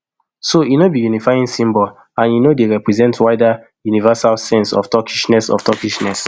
so e no be unifying symbol and e no dey represent wider universal sense of turkishness of turkishness